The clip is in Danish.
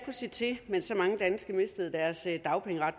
se til mens så mange danske mistede deres dagpengeret